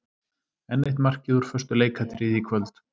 Enn eitt markið úr föstu leikatriði í kvöld.